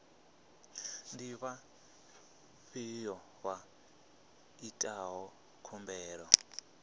ndi vhafhiyo vha itaho khumbelo